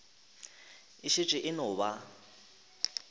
e šetše e no ba